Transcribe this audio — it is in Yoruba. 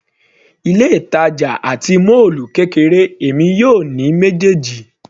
Ilé ìtàjà àti mọ́ọ́lù kéré, èmi yóò ní méjèèjì.